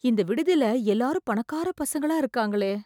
இந்த விடுதில எல்லாரும் பணக்காரப் பசங்களா இருக்காங்களே...